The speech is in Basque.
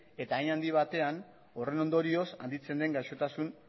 eta hein handi batean horren ondorioz handitzen den gaixotasun